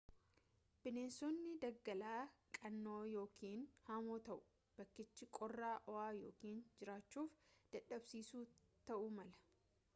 bineensotni daggalaa qaana'oo ykn hamoo ta'u bakkichii qorraa ho'aa ykn jiraachuuf dadhabsiisaa ta'uu mala